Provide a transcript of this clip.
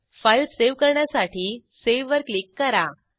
file save करण्यासाठी save वर click करा